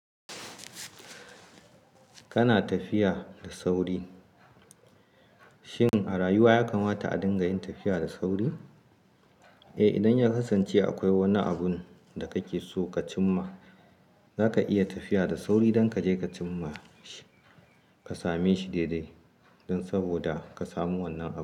Kana tafiya da sauri. Shin a rayuwa yakan wata a dinga yin tafiya da sauri? Eh, idan ya kasance akwai wani abun da kake so ka cim ma, zaka iya tafiya da sauri don ka je ka cim ma shi, ka same shi daidai don saboda ka samu wannan abun.